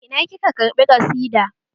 Ina kika karɓi ƙasida?